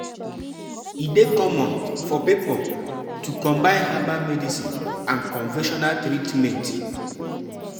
Traditional healers sabi how to manage some sickness some sickness wey doctors no fit.